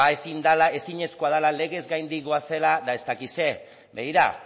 ezinezkoa dela legez gaindi goazela eta ez dakit zer begira